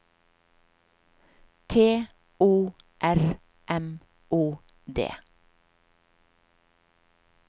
T O R M O D